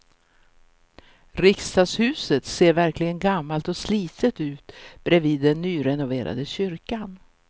Riksdagshuset ser verkligen gammalt och slitet ut bredvid den nyrenoverade kyrkan.